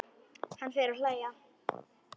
Hann fer að hlæja.